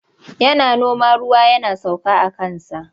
Yana noma ruwa yana sauka aka kansa.